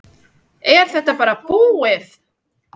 Er þetta bara búið?